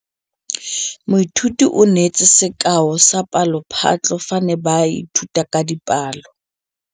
Moithuti o neetse sekaô sa palophatlo fa ba ne ba ithuta dipalo.